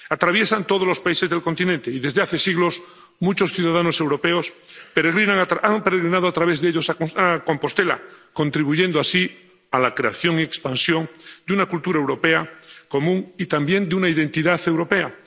Atraviesan todos los países del continente y desde hace siglos muchos ciudadanos europeos han peregrinado a través de ellos a Compostela, contribuyendo así a la creación y expansión de una cultura europea común y también de una identidad europea.